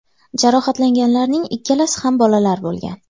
Jarohatlanganlarning ikkalasi ham bolalar bo‘lgan.